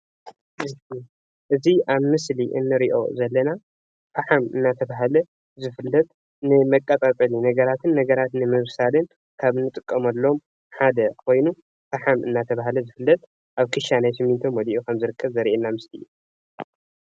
እቲ አብ ምስሊ እንሪኦ ዘለና ፈሓም እናተባህለ ዝፍለጥ ንመቀፃፀሊ ነገራትን ነገራትን ንምብሳልን ካብ እንጥቀመሎም ሓደ ኮይኑ ፈሓም እናተባህለ ዝፍለጥ አብ ክሻ ናይ ስሚንቶ መሊኡ ከም ዝርከብ ዘሪአና ምስሊእዩ፡፡